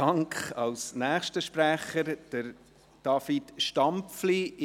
Als nächster Sprecher spricht David Stampfli.